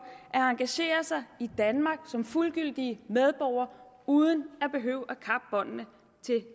at engagere sig i danmark som fuldgyldige medborgere uden at de behøver